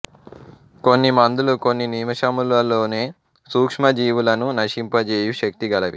కొన్ని మందులు కొన్ని నిమిషములలోనే సూక్ష్మ జీవులను నశింప జేయు శక్తి గలవి